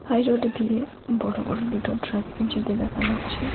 High road দিয়ে বড় বড় দুটো ট্রাককে যেতে দেখা যাচ্ছে।